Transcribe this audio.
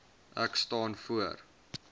ek staan voor